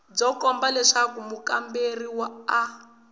byo komba leswaku mukamberiwa a